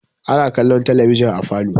Ana kallon talabijin a falo.